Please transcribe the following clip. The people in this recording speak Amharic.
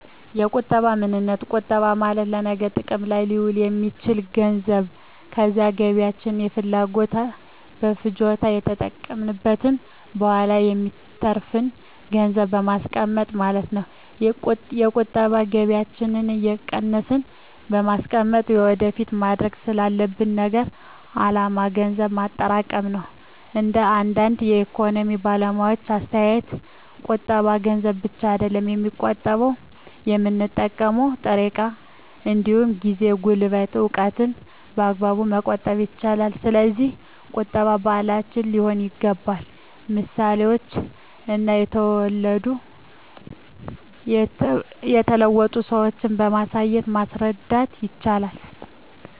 የቁጠባ ምንነት ቁጠባ ማለት ለነገ ጥቅም ላይ ሊውል የሚችል ገንዘብ ከዛሬ ገቢያችን ለፍጆታ ከተጠቀምንት በኋላ የሚተርፍን ገንዘብን ማስቀመጥ ማለት ነው። የቁጠባ ከገቢያችን እየቀነስን በማስቀመጥ ወደፊት ማድረግ ላሰብነው አላማ ገንዘብ ማጠራቀም ነው። እንደ አንዳንድ የኢኮኖሚክስ ባለሙያዎች አስተያየት ቁጠባ ገንዘብ ብቻ አይደለም የሚቆጠበው የምንጠቀመው ጥሬ እቃ እንዲሁም ጊዜ፣ ጉልበትን፣ እውቀትን በአግባቡ መቆጠብ ይቻላል። ስለዚህ ቁጠባ ባህላችን ሊሆን ይገባል ምሳሌዎችን እና የተለወጡ ሰዎችን በማሳየት ማስረዳት ይቻላል